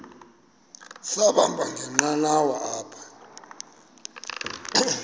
sahamba ngenqanawa apha